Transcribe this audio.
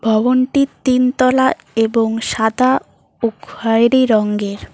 ভবনটি তিনতলা এবং সাদা ও খয়েরি রঙের।